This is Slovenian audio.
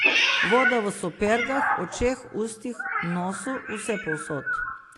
Voda v supergah, očeh, ustih, nosu, povsod.